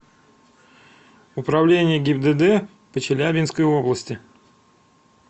управление гибдд по челябинской области